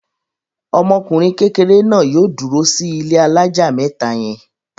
Ọmọkùnrin kékeré náà yóò dúró sí ilé alájà mẹ́ta yẹn!